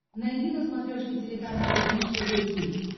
найди на смотрешке телеканал бридж тв хитс